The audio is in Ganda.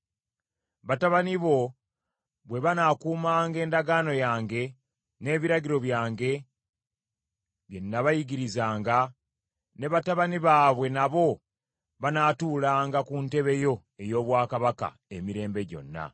Batabani bo bwe banaakuumanga Endagaano yange n’ebiragiro byange bye nnaabayigirizanga, ne batabani baabwe nabo banaatuulanga ku ntebe yo ey’obwakabaka emirembe gyonna.”